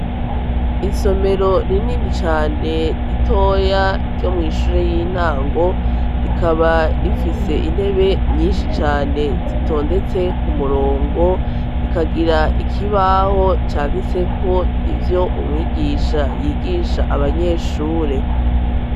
Isomero rinini cane ritoya ryo mw'ishure y'intango, rikaba rifise intebe nyinshi cane zitondetse ku murongo rikagira ikibaho canditseko ivyo umwigisha yigisha abanyeshure.